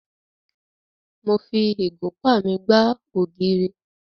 Mo fi ìgúnpá mi gbá ògiri.